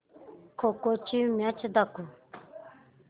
खो खो ची मॅच दाखव